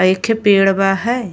एखे पेड़ बा हय।